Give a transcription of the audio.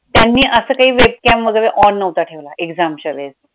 त्यांनी असं काय webcam वगैरे on नव्हता ठेवला exam चा वेळेस